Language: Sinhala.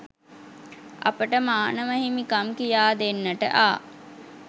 අපට මානව හිමිකම් කියාදෙන්නට ආ